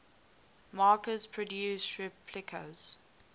makers produce replicas